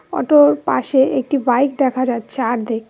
অটোর পাশে একটি বাইক দেখা যাচ্ছে আর্ধেক।